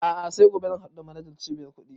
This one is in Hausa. A'a sai gobe zan haɗu da manajan cibiyar kuɗi